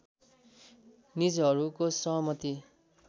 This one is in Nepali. निजहरूको सहमति